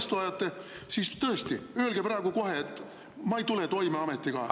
… ja demagoogiat vastu ajate, siis tõesti, öelge praegu kohe, et te ei tule oma ametiga toime ja lähete ära.